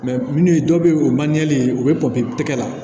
minnu ye dɔ bɛ ye o ye ye u bɛ tɛgɛ la